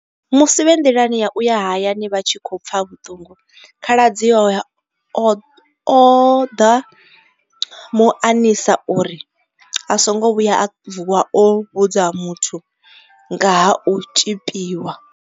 Musi vhe nḓilani ya u ya hayani vha tshi khou pfa vhuṱungu, khaladzi awe o ḓa mu anisa uri a songo vhuya a vuwa o vhudza muthu nga ha u tzhipiwa.